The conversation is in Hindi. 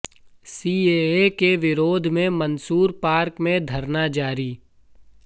सीएए के विरोध में मंसूर पार्क में धरना जारी